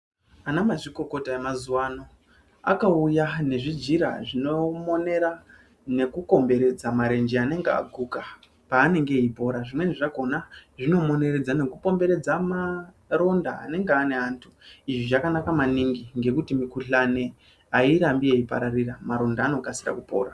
Ana mazvikokota emazuvano akauya nezvijira zvinomonera nekukomberedze marenje anenge aguka paanenge eipora zvinoizvi zvakona zvinomoneredza nekupomberedza maronda anonga aine antu izve zvakanaka maningi nekuti migulani ayirambi eyipararira maronda anokasira kupora .